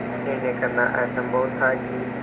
यह निर्णय करना असम्भव था कि